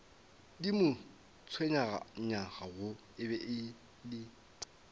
di mo tshwenyago e bile